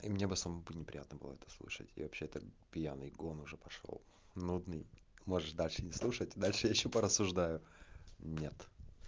меня бы самому не приятно было это слышать я вообще-то пьяный гон уже пошёл нудный можешь дальше не слушайте дальше ещё по рассуждаю нет